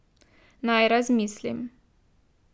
Naj razmislim ...